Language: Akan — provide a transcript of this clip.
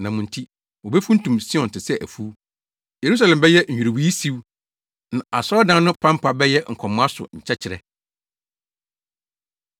Na mo nti, wobefuntum Sion te sɛ afuw, Yerusalem bɛyɛ nnwiriwii siw, na asɔredan no pampa bɛyɛ nkɔmoa so nkyɛkyerɛ.